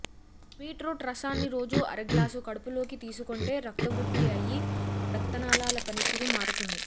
బీట్రూట్స్రాన్ని రోజు అరగ్లాసు కడుపులోకి తీసుకొంటే రక్తవృద్ధి అయ్యి రక్తనాళాల పనితీరు మారుతుంది